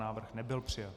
Návrh nebyl přijat.